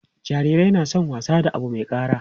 jarirai na San wasa da Abu Mai kara